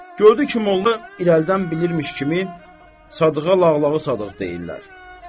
Gördü ki, molla irəlidən bilirmiş kimi Sadığa Lağlağı Sadıq deyirlər.